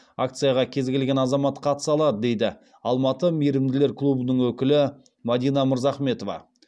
акцияға кез келген азамат қатыса алады дейді алматы мейірімділер клубының өкілі мадина мырзахметова